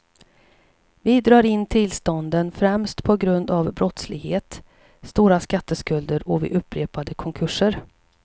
Vi drar in tillstånden främst på grund av brottslighet, stora skatteskulder och vid upprepade konkurser.